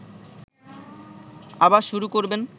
আবার শুরু করবেন